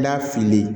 N'a fililen